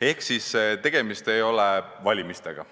Ehk tegemist ei ole valimistega,